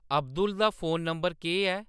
अब्दुल दा phone number केह्‌‌ ऐ